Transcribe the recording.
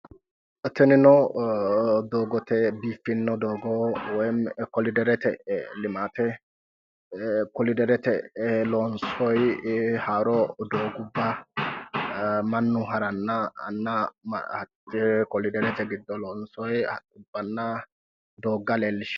TInino doogote biiffinno doogo woyimmi koliderete limaate koliderete lonsoyi haaro doogubba mannu harannanna hatte koliderete giddo loonsoyi awabbanna doogga leellishanno